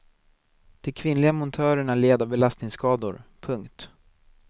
De kvinnliga montörerna led av belastningsskador. punkt